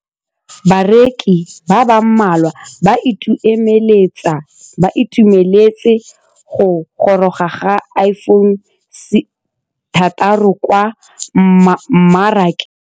Bareki ba ba malwa ba ituemeletse go gôrôga ga Iphone6 kwa mmarakeng.